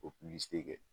O kɛ